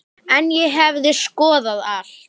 En ég hefði skoðað allt.